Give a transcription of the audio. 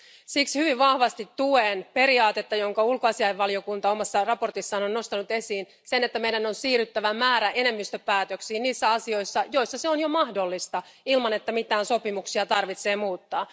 Siksi hyvin vahvasti tuen periaatetta, jonka ulkoasiainvaliokunta omassa raportissaan on nostanut esiin sen, että meidän on siirryttävä määräenemmistöpäätöksiin niissä asioissa, joissa se on jo mahdollista ilman, että mitään sopimuksia tarvitsee muuttaa.